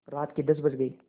रात के दस बज गये